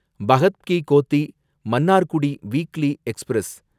Bhagat Ki Kothi Mannargudi weekly express